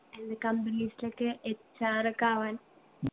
എന്ത companies ലൊക്കെ HR ഒക്കെ ആവാൻ